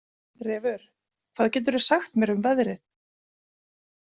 Refur, hvað geturðu sagt mér um veðrið?